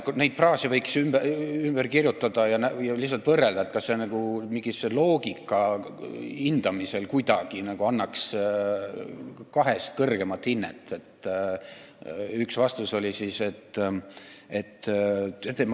Neid fraase võiks ümber kirjutada ja lihtsalt võrrelda, kas need annaks kuidagi kahest kõrgema hinde mingisuguse loogika hindamisel.